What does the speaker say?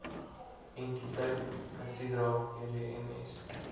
entiteit casidra edms